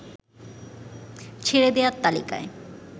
ছেড়ে দেয়ার তালিকায়